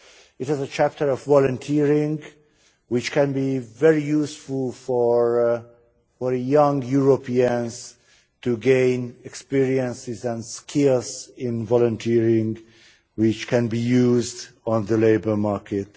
It has a chapter on volunteering which can be very useful for young Europeans to gain experience and skills in volunteering which can be used on the labour market.